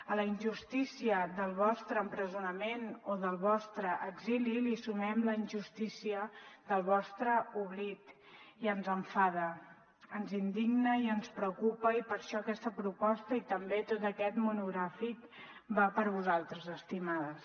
a la injustícia del vostre empresonament o del vostre exili hi sumem la injustícia del vostre oblit i ens enfada ens indigna i ens preocupa i per això aquesta proposta i també tot aquest monogràfic va per vosaltres estimades